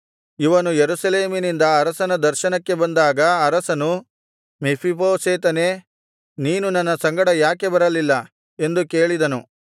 ಇವನು ಯೆರೂಸಲೇಮಿನಿಂದ ಅರಸನ ದರ್ಶನಕ್ಕೆ ಬಂದಾಗ ಅರಸನು ಮೆಫೀಬೋಶೆತನೇ ನೀನು ನನ್ನ ಸಂಗಡ ಯಾಕೆ ಬರಲಿಲ್ಲ ಎಂದು ಕೇಳಿದನು